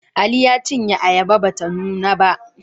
Ali ya cinye ayaba ba ta nuna ba